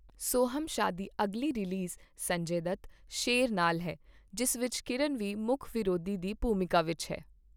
ਸੋਹਮ ਸ਼ਾਹ ਦੀ ਅਗਲੀ ਰਿਲੀਜ਼ ਸੰਜੇ ਦੱਤ, ਸ਼ੇਰ ਨਾਲ ਹੈ, ਜਿਸ ਵਿੱਚ ਕੀਰਨ ਵੀ ਮੁੱਖ ਵਿਰੋਧੀ ਦੀ ਭੂਮਿਕਾ ਵਿੱਚ ਹੈ।